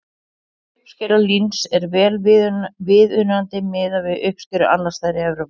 Uppskera líns er vel viðunandi miðað við uppskeru annars staðar í Evrópu.